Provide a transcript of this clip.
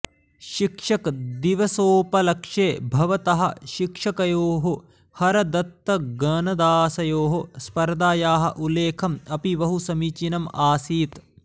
शिक्षकदिवसोपलक्षे भवतः शिक्षकयोः हरदत्तगणदासयोः स्पर्धायाः उल्लेखम् अपि बहु समीचीनम् आसीत्